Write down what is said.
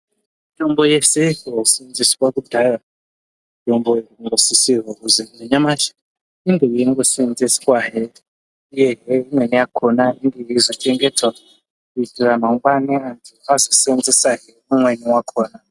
Mitombo yese yaiseenzeswa kudhaya , mitombo inosisirwa kuzi nanyamashi inge yeingoseenzeswa hee neimwe yakona yeizochengetwa kuitira mangwani vazoseenzesa hee imweni yakona.